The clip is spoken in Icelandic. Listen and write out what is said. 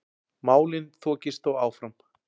Málin þokist þó áfram.